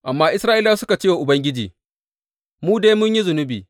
Amma Isra’ilawa suka ce wa Ubangiji, Mu dai mun yi zunubi.